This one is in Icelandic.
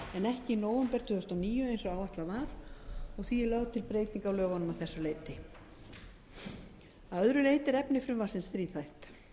en ekki nóvember tvö þúsund og níu eins og áætlað var og því er lögð til breyting á lögunum að þessu leyti að öðru leyti er efni frumvarpsins þríþætt